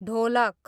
ढोलक